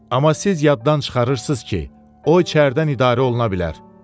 Amma siz yaddan çıxarırsız ki, o içəridən idarə oluna bilər.